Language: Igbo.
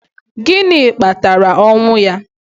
Gịnị kpatara ọnwụ ya?